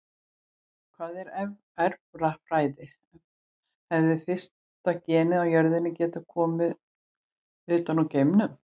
Hvað er erfðafræði Hefði fyrsta genið á jörðinni getað komið utan úr geimnum?